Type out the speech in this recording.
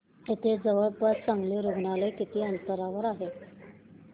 इथे जवळपास चांगलं रुग्णालय किती अंतरावर आहे